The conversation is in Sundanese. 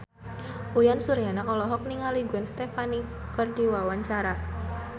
Uyan Suryana olohok ningali Gwen Stefani keur diwawancara